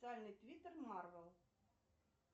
официальный твиттер марвел